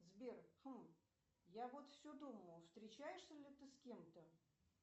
сбер хм я вот все думаю встречаешься ли ты с кем то